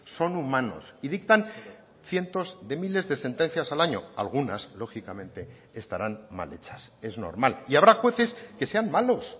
son humanos y dictan cientos de miles de sentencias al año algunas lógicamente estarán mal hechas es normal y habrá jueces que sean malos